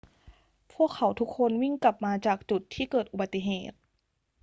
พวกเขาทุกคนวิ่งกลับมาจากจุดที่เกิดอุบัติเหตุ